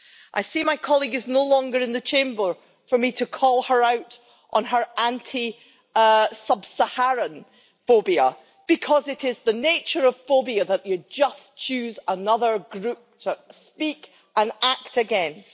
I see my colleague is no longer in the Chamber for me to call her out on her anti sub Saharan phobia, because it is the nature of phobia that you just choose another group to speak and act against.